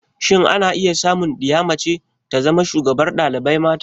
Shin ana samu diya mace ta zama shugabar dalibai mata?